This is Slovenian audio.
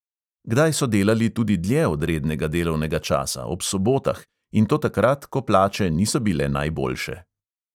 Kdaj so delali tudi dlje od rednega delovnega časa, ob sobotah, in to takrat, ko plače niso bile najboljše.